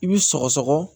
I bi sɔgɔsɔgɔ